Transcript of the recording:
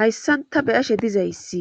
hayssan ta beyashe dizayssi